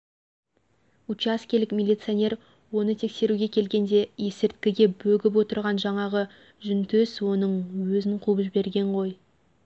учаскелік миллиционер оны тексеруге келгенде есірткіге бөгіп отырған жаңағы жүнтөс оның өзін қуып берген ғой